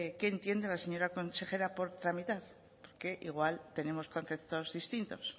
qué entiende la señora consejera por tramitar porque igual tenemos conceptos distintos